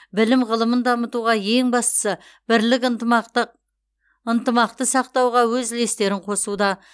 білім ғылымын дамытуға ең бастысы бірлік ынтымақты сақтауға өз үлестерін қосуда